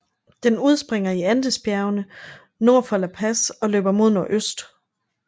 Den udspringer i Andesbjergene nord for La Paz og løber mod nordøst